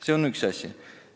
See on üks asi.